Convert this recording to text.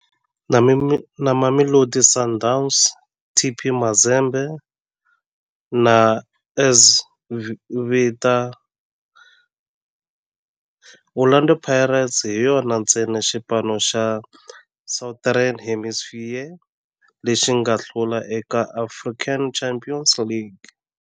Na Mamelodi Sundowns, TP Mazembe na AS Vita, Orlando Pirates hi yona ntsena xipano xa Southern Hemisphere lexi nga hlula eka African Champions League.